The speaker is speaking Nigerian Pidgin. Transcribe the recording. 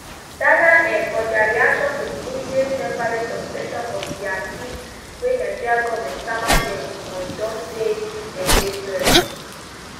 dana air for dia reaction to di immediate temporary suspension of dia fleet wey nigeria goment sama dem on don say dem dey sorry